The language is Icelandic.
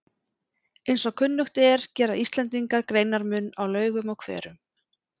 Eins og kunnugt er gera Íslendingar greinarmun á laugum og hverum.